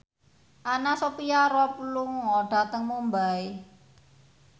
Anna Sophia Robb lunga dhateng Mumbai